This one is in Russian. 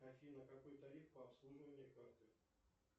афина какой тариф по обслуживанию карты